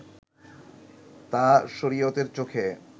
তা শরিয়তের চোখে